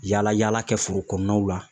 Yaala yaala kɛ foro kɔnɔnaw la